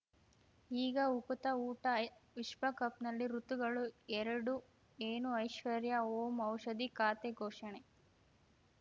ಈಗ ಉಕುತ ಊಟ ವಿಶ್ವಕಪ್‌ನಲ್ಲಿ ಋತುಗಳು ಎರಡು ಏನು ಐಶ್ವರ್ಯಾ ಓಂ ಔಷಧಿ ಖಾತೆ ಘೋಷಣೆ